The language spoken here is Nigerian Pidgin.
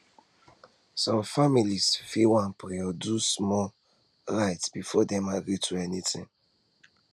some families fit wan pray or do small do small rite before dem agree to anything